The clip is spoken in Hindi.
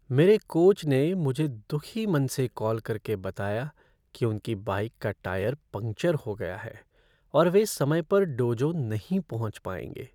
मेरे कोच ने मुझे दुखी मन से कॉल करके बताया कि उनकी बाइक का टायर पंक्चर हो गया है और वे समय पर डोजो नहीं पहुंच पाएंगे।